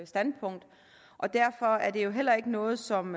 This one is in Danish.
standpunkt og derfor er det jo heller ikke noget som